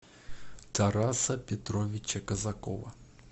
тараса петровича казакова